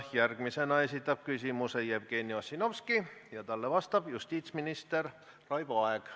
Järgmisena esitab küsimuse Jevgeni Ossinovski ja talle vastab justiitsminister Raivo Aeg.